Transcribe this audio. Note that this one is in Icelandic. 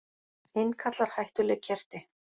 Innkallar hættuleg kerti